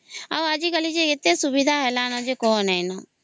ଆଉ ଆଜି କଲି ଯେ ଏତେ ସୁବିଧା ହେଲା ନ କଣ ନାଈଁ